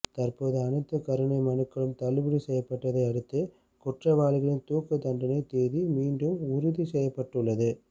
தற்போது அனைத்து கருணை மனுக்களும் தள்ளுபடி செய்யப்பட்டதை அடுத்து குற்றவாளிகளின் தூக்கு தண்டனை தேதி மீண்டும் உறுதி செய்யப்பட்டுள்ளது